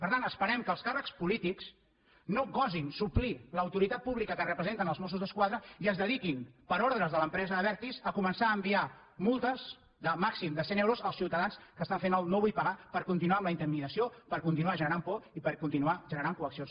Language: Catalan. per tant esperem que els càrrecs polítics no gosin suplir l’autoritat pública que representen els mossos d’esquadra i es dediquin per ordres de l’empresa abertis a començar a enviar multes de màxim de cent euros als ciutadans que estan fent el no vull pagar per continuar amb la intimidació per continuar generant por i per continuar generant coaccions